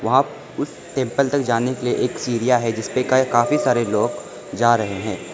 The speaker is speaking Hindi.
आप उस टेंपल तक जाने के लिए एक सीढ़िया है जिसपे कै काफी सारे लोग जा रहे हैं।